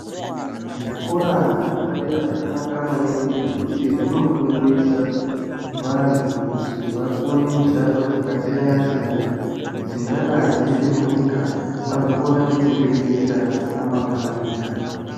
Zvikora zvepadera zvakanaka maningi ngekuti zvinofundisa, vantu kuti vakone mishando dzakasiyana-siyana dzingadai dziri munyika vazokone kudziriritira ramangwani.